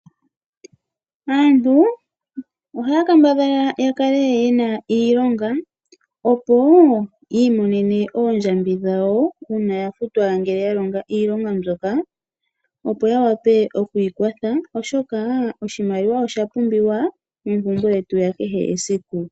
Aantu ohaya kambadhala yakale yena iilonga opo yiimonene oondjambi dhawo ndhoka taya futwa ngele yalongo iilonga mbyoka, ya wape okwiikwatha oshoka oshimaliwa oshapumbiwa moompumbwe dhakehe siku.